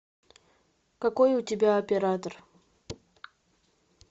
какой у тебя оператор